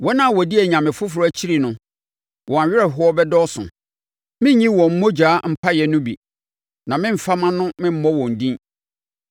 Wɔn a wɔdi anyame afoforɔ akyire no wɔn awerɛhoɔ bɛdɔɔso. Merenyi wɔn mogya apaeɛ no bi na meremfa mʼano memmɔ wɔn din.